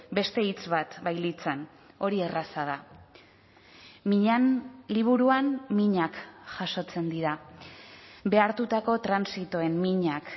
beste hitz bat bailitzan hori erraza da miñan liburuan minak jasotzen dira behartutako transitoen minak